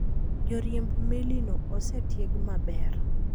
Joriemb melino osetieg maber.